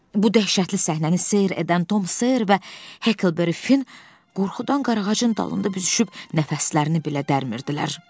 Bu dəhşətli səhnəni seyr edən Tom Ser və Hekelberifin qorxudan qarağacın dalında büzüşüb nəfəslərini belə dərinmirdilər.